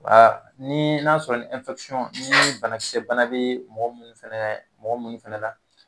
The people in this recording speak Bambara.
ni n'a sɔrɔ ni banakisɛ bana bɛ mɔgɔ minnu fɛnɛ mɔgɔ minnu fɛnɛ la